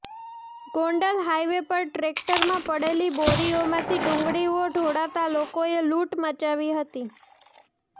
Gondal highway પર ટ્રેકટરમાં પડેલી બોરીઓમાંથી ડુંગળીઓ ઢોળાતા લોકોએ લૂંટ મચાવી હતી